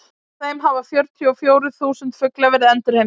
af þeim hafa fjörutíu og fjórir þúsund fuglar verið endurheimtir